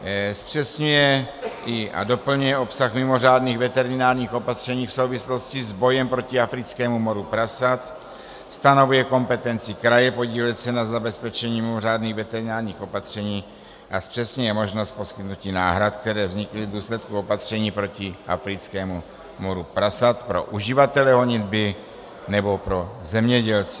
Zpřesňuje a doplňuje obsah mimořádných veterinárních opatření v souvislosti s bojem proti africkému moru prasat, stanovuje kompetenci kraje podílet se na zabezpečení mimořádných veterinárních opatření a zpřesňuje možnost poskytnutí náhrad, které vznikly v důsledku opatření proti africkému moru prasat pro uživatele honitby nebo pro zemědělce.